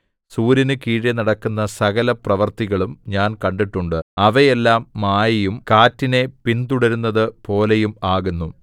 സൂര്യന് കീഴെ നടക്കുന്ന സകലപ്രവൃത്തികളും ഞാൻ കണ്ടിട്ടുണ്ട് അവയെല്ലാം മായയും കാറ്റിനെ പിന്‍തുടരുന്നത്‌ പോലെയും ആകുന്നു